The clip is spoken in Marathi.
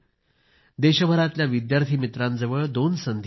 देशभरातल्या विद्यार्थी मित्रांजवळ दोन संधी आहेत